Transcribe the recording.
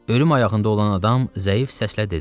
Ölüm ayağında olan adam zəif səslə dedi.